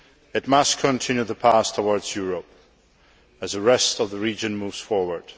It must continue on the path towards Europe as the rest of the region moves forward.